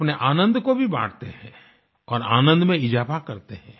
अपने आनंद को भी बाँटते हैं और आनंद में इज़ाफा करते हैं